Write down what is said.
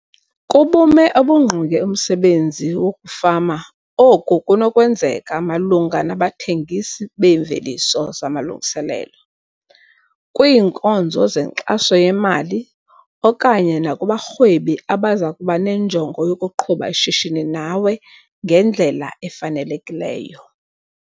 Kubume obungqonge umsebenzi wokufama oku kunokwenzeka malunga nabathengisi beemveliso zamalungiselelo, kwiinkonzo zenkxaso yemali okanye nakubarhwebi abaza kuba nenjongo yokuqhuba ishishini nawe ngendlela efanelekileyo.